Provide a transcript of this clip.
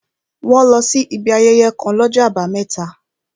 Wọ́n lọ sí ibi ayẹyẹ kàn l'ọ́jọ́ àbámẹ́ta